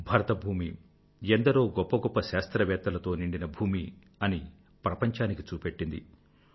భరత భూమి ఎందరో గొప్ప గొప్ప శాస్త్రవేత్తలతో నిండిన భూమి అని ప్రపంచానికి చూపెట్టింది